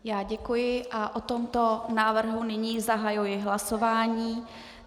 Já děkuji a o tomto návrhu nyní zahajuji hlasování.